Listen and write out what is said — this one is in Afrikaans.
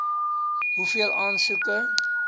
hoeveel aansoeke